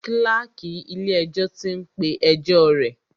Kláàkì ilé ẹjọ́ tí ń pé ẹjọ́ rẹ̀.